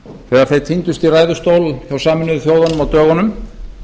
þegar þeir tíndust í ræðustól hjá sameinuðu þjóðunum á dögunum